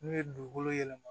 N'u ye dugukolo yɛlɛma